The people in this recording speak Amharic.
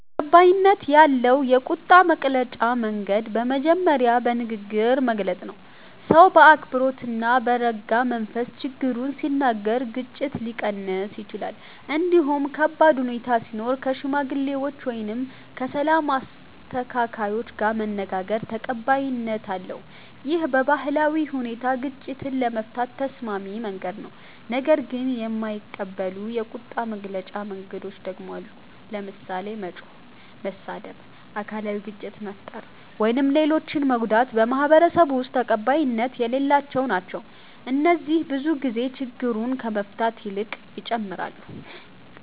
ተቀባይነት ያለው የቁጣ መግለጫ መንገድ በመጀመሪያ በንግግር መግለጽ ነው። ሰው በአክብሮት እና በረጋ መንፈስ ችግሩን ሲናገር ግጭት ሊቀንስ ይችላል። እንዲሁም ከባድ ሁኔታ ሲኖር ከሽማግሌዎች ወይም ከሰላም አስተካካዮች ጋር መነጋገር ተቀባይነት አለው። ይህ በባህላዊ ሁኔታ ግጭትን ለመፍታት ተስማሚ መንገድ ነው። ነገር ግን የማይቀበሉ የቁጣ መግለጫ መንገዶች ደግሞ አሉ። ለምሳሌ መጮህ፣ መሳደብ፣ አካላዊ ግጭት መፍጠር ወይም ሌሎችን መጎዳት በማህበረሰቡ ውስጥ ተቀባይነት የሌላቸው ናቸው። እነዚህ ብዙ ጊዜ ችግሩን ከመፍታት ይልቅ ይጨምራሉ